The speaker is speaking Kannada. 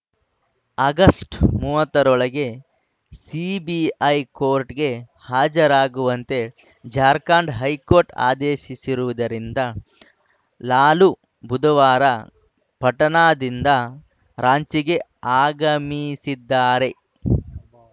ಆಗಸ್ಟ್ ಮೂವತ್ತರೊಳಗೆ ಸಿಬಿಐ ಕೋರ್ಟ್‌ಗೆ ಹಾಜರಾಗುವಂತೆ ಜಾರ್ಖಂಡ್‌ ಹೈಕೋರ್ಟ್‌ ಆದೇಶಿಸಿರುವುದರಿಂದ ಲಾಲು ಬುಧವಾರ ಪಟನಾದಿಂದ ರಾಂಚಿಗೆ ಆಗಮಿಸಿದ್ದಾರೆ